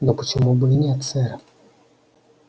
но почему бы и нет сэр